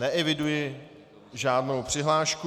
Neeviduji žádnou přihlášku.